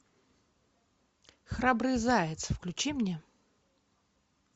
храбрый заяц включи мне